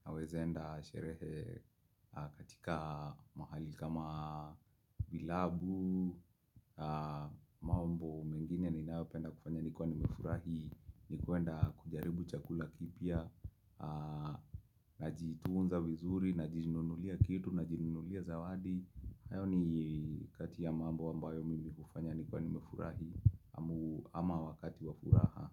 Ninaweza enda sherehe katika mahali kama kilabu mambo mengine ninayopenda kufanya nikiwa nimefurahi ni kwenda kujaribu chakula lakini pia Najitunza vizuri, najinunulia kitu, najinunulia zawadi. Hayo ni kati ya mambo ambayo mimi hufanya nikiwa nimefurahi ama wakati wa furaha.